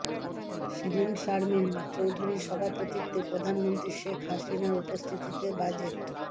শিরীন শারমিন চৌধুরীর সভাপতিত্বে প্রধানমন্ত্রী শেখ হাসিনার উপস্থিতিতে বাজেট